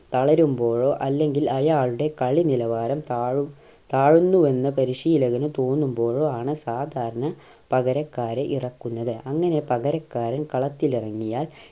തളരുമ്പോഴോ അല്ലെങ്കിൽ അയാളുടെ കളി നിലവാരം താഴും താഴുന്നുവെന്ന് പരിശീലകന് തോന്നുമ്പോഴോ ആണ് സാധാരണ പകരക്കാരെ ഇറക്കുന്നത് അങ്ങനെ പകരക്കാരൻ കളത്തിൽ ഇറങ്ങിയാൽ